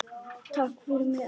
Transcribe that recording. Takk fyrir mig, elsku Guðný.